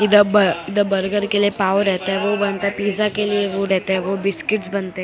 इधर ब इधर बर्गर के लिए पाव रहता हैं वो बनता हैं पिज़्जा के लिए वो रहता हैं वो बिस्किट्स बनते --